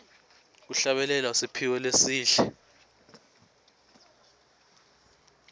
kuhlabelela kusiphiwo lesihle